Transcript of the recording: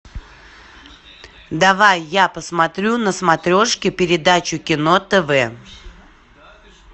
давай я посмотрю на смотрешке передачу кино тв